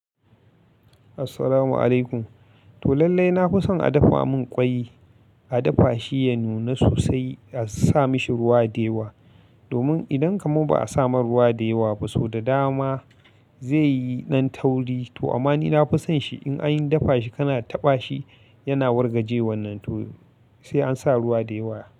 Assalamu alaikum. To lallai na fi son a dafa mun kwai, a dafa shi ya nuna sosai a sa mashi ruwa da yawa. Domin idan kaman ba a samar ruwa deyawa ba, so da dama zai yi nan tauri. To amma ni na fi son shi in an dafa shi kana taɓa shi yana wargaje wannan to sai an sa ruwa dewa.